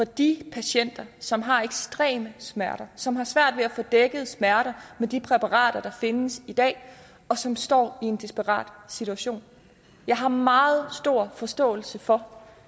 de patienter som har ekstreme smerter som har svært ved at få dækket smerterne med de præparater der findes i dag og som står i en desperat situation jeg har meget stor forståelse for